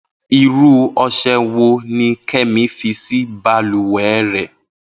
Irú ọṣẹ wo ni Kẹ́mi fi sí balùwẹ̀ rẹ̀?